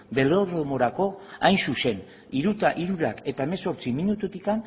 belodromorako hain zuzen hamabost hemezortzi minututik